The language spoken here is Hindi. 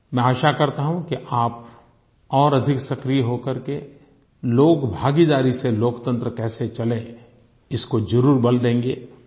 मैं आशा करता हूँ कि आप और अधिक सक्रिय हो करके लोकभागीदारी से लोकतंत्र कैसे चले इसको जरूर बल देंगे